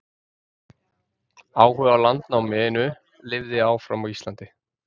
áhugi á landnáminu lifði áfram á íslandi